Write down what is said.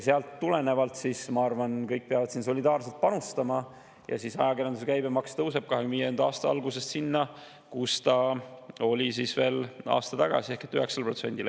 Sellest tulenevalt, ma arvan, kõik peavad solidaarselt panustama ja ajakirjanduse käibemaks tõuseb 2025. aasta alguses sinna, kus see oli veel aasta tagasi, ehk 9%‑le.